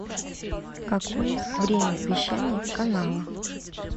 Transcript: какое время вещания канала